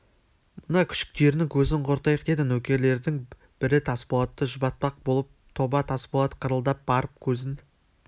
мына күшіктерінің көзін құртайық деді нөкерлердің бірі тасболатты жұбатпақ болып тоба тасболат қырылдап барып көзін